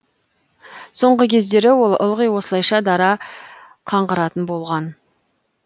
соңғы кездері ол ылғи осылайша дара қаңғыратын болған